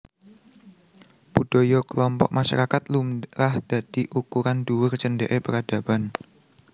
Budaya kelompok masyarakat lumrah dadi ukuran dhuwur cendheke peradaban